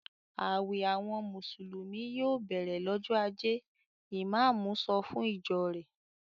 "Àwẹ̀ àwọn Mùsùlùmí yòò bẹ̀rẹ̀ lọ́jọ́ ajé!" Ìmáámù sọ fún ìjọ rẹ̀.